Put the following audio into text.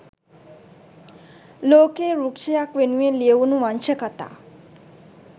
ලෝකයේ වෘක්‍ෂයක් වෙනුවෙන් ලියැවුණු වංශකතා